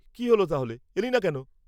কী হল তাহলে, এলি না কেন?